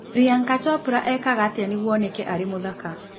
Priyanka Chopra ekaga atĩa nĩguo oneke arĩ mũthaka